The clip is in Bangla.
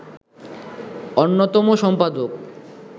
অন্যতম সম্পাদক